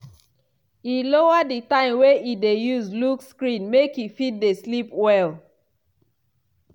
e lower di time wey e dey use look screen make e fit dey sleep well.